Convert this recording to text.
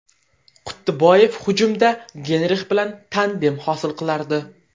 Quttiboyev hujumda Geynrix bilan tandem hosil qilardi.